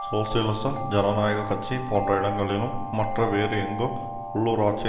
சோசியலிச ஜனநாயக கட்சி போன்ற இடங்களிலும் மற்றும் வேறு எங்கு உள்ளூராட்சி